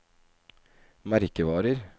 merkevarer